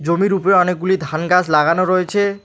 জমির উপরে অনেকগুলি ধান গাছ লাগানো রয়েছে।